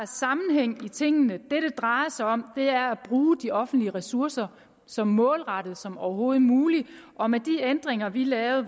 sammenhæng i tingene det det drejer sig om er at bruge de offentlige ressourcer så målrettet som overhovedet muligt og med de ændringer vi lavede